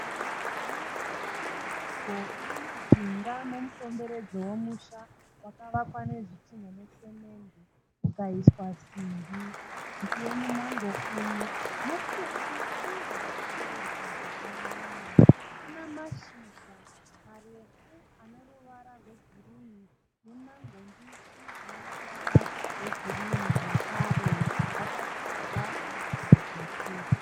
Muti wemumango uri mujinga memukomberedzwa wemusha, wakavakwa nezvidhinha nesemende ukaiswa simbi. Muti wemumango uyu mupfupi uye wakabereka zvakanyanya. Una mashizha marefu aneruvara rwegirinhi nemango mbishi dzine ruvara rwegirinhi zvakare. Wakadyarwa panevhu dzvuku.